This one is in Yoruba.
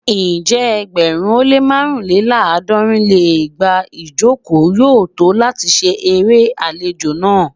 Ǹjẹ́ ẹgbẹ̀rún ó lé màrúnléláàádọ́rin lé igba ijoko yoo to lati ṣe ere alejo naa?